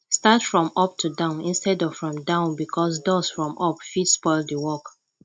start from up to down instead of from down because dust from up fit spoil di work